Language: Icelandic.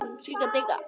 Spyr þá Ásgeir.